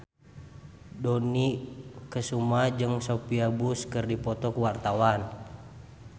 Dony Kesuma jeung Sophia Bush keur dipoto ku wartawan